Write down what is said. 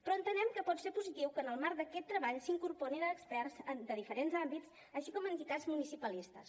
però entenem que pot ser positiu que en el marc d’aquest treball s’incorporin experts de diferents àmbits així com entitats municipalistes